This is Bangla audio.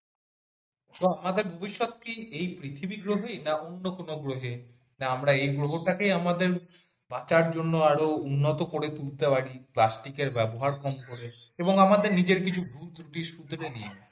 তো আমাদের ভবিষ্যৎ কি এই পৃথিবী গ্রহেই না অন্য কোনো গ্রহে না আমরা এই গ্রহকাটেই আমাদের বাঁচার জন্য আরো উন্নত করে তুলতে পারি plastic এর ব্যবহার কম করে এবং আমাদের নিজের কিছু ভুল ত্রুটি শোধরে নিয়ে।